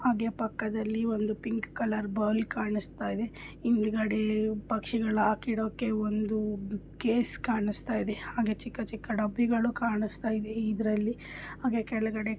ಹಾಗೆ ಪಕ್ಕದಲ್ಲಿ ಒಂದು ಪಿಂಕ್ ಕಲರ್ ಬೌಲ್ ಕಾಣಿಸ್ತಾಯಿದೆ ಇದೆ ಹಿಂದ್ಗಡೆ ಪಕ್ಷಿಗಳ ಹಾಕಿ ಇಡೋಕೆ ಒಂದು ಕೇಜ್ ಕಾಣಿಸ್ತಾಯಿದೆ ಹಾಗೆ ಚಿಕ್ಕ ಚಿಕ್ಕ ಡಬ್ಬಿಗಳು ಕಾಣಿಸ್ತಾಯಿದೆ ಇದೆ ಇದರಲ್ಲಿ ಹಾಗೆ ಕೆಳಗಡೆ--